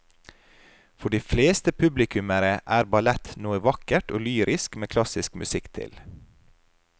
For de fleste publikummere er ballett noe vakkert og lyrisk med klassisk musikk til.